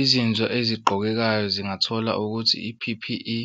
Izinso eziqokekayo zingathola ukuthi i-P_P_E